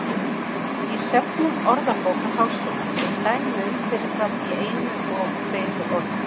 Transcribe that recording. Í söfnum Orðabókar Háskólans eru dæmi um fyrir fram bæði í einu og tveimur orðum.